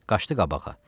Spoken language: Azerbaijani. Qaçdı qabağa.